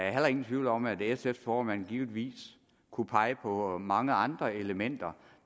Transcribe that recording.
er heller ingen tvivl om at sfs formand givetvis kunne pege på mange andre elementer